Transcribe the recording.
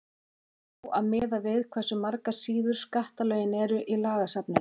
á að miða við hversu margar síður skattalögin eru í lagasafninu